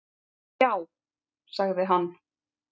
Já, sagði hann.